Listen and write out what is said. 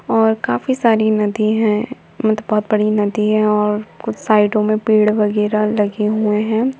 और काफी सारी नदी हैं मतलब बहुत बड़ी नदी है और कुछ साइडों में पेड़ वगैरह लगे हुए हैं।